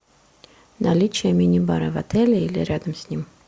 наличие мини бара в отеле или рядом с ним